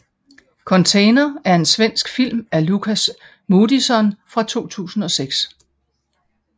Container er en svensk film af Lukas Moodysson fra 2006